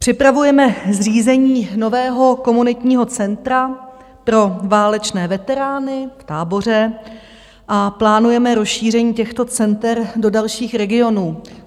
Připravujeme zřízení nového komunitního centra pro válečné veterány v Táboře a plánujeme rozšíření těchto center do dalších regionů.